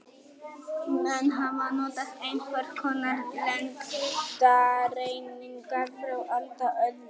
Menn hafa notað einhvers konar lengdareiningar frá alda öðli.